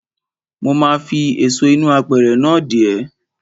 Mo ma fi èso inú apẹ̀rẹ̀ náà dè ẹ́.